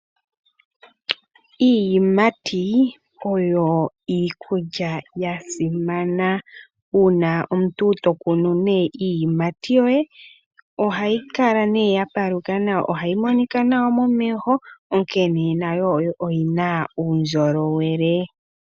Iiyimati oyo iikulya ya simana. Uuna omuntu tokunu nee iiyimati yoye ohayi kala nee ya paluka nawa. Ohayi monika nawa momeho onkene nayo oyina uundjolowele.